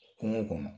Kungo kɔnɔ